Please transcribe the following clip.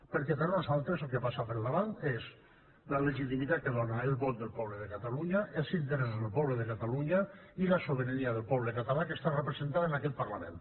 perquè per nosaltres el que passa per davant és la legitimitat que dóna el vot del poble de catalunya els interessos del poble de catalunya i la sobirania del poble català que està representada en aquest parlament